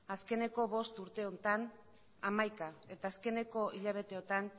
azkeneko bost urte honetan hamaika eta azkeneko hilabeteotan